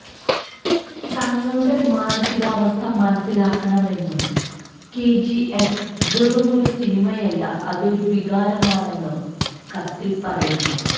തങ്ങളുടെ മാനസികാവസ്ഥ മനസിലാക്കണമെന്നും കെജിഎഫ് വെറുമൊരു സിനിമയല്ല അതൊരു വികാരമാണെന്നും കത്തിൽ പറയുന്നു